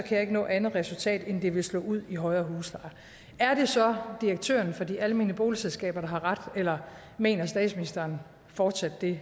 jeg ikke nå andet resultat end at det vil slå ud i højere huslejer er det så direktøren for de almene boligselskaber der har ret eller mener statsministeren fortsat det